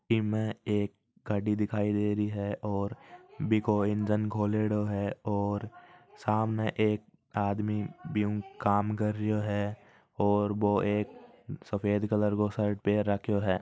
में एक गाड़ी दिख दे रही है और बिको इंजन खोलेडो है और सामने एक आदमी बीम काम कर रहो है और वो एक सफेद कलर को शर्ट पहन राखो है।